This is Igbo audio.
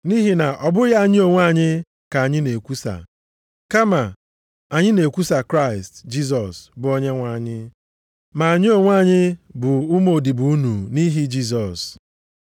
Nʼihi na ọ bụghị anyị onwe anyị ka anyị na-ekwusa, kama anyị na-ekwusa na Kraịst Jisọs bụ Onyenwe anyị. Ma anyị onwe anyị bụ ụmụodibo unu nʼihi Jisọs.